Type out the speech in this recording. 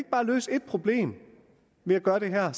bare løse et problem ved at gøre det her